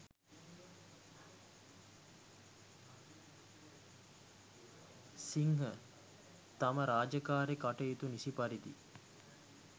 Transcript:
සිංහ තම රාජකාරී කටයුතු නිසි පරිදි